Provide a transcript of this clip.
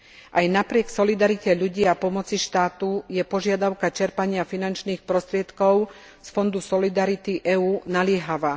Aj napriek solidarite ľudí a pomoci štátu je požiadavka čerpania finančných prostriedkov z Fondu solidarity EÚ naliehavá.